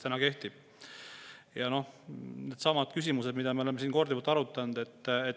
Needsamad küsimused, mida me oleme siin korduvalt arutanud.